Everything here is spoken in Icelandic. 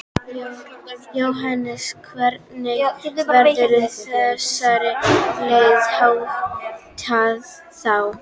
Jóhannes: Hvernig verður þessari leit háttað þá?